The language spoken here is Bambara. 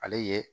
Ale ye